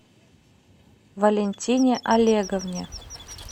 валентине олеговне